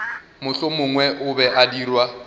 mohlomongwe o be a dirwa